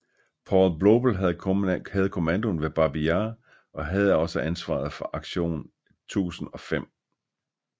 Paul Blobel havde kommandoen ved Babij Jar og havde også ansvaret for Aktion 1005